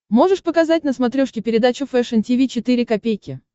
можешь показать на смотрешке передачу фэшн ти ви четыре ка